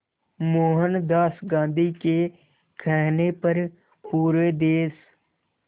मोहनदास गांधी के कहने पर पूरे देश